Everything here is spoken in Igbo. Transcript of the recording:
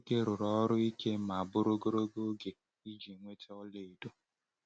Ụmụ nwoke rụrụ ọrụ ike ma bụrụ ogologo oge iji nweta ọlaedo.